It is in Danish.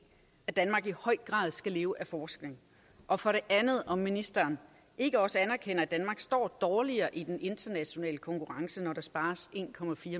at danmark i høj grad skal leve af forskning og for det andet om ministeren ikke også anerkender at danmark står dårligere i den internationale konkurrence når der spares en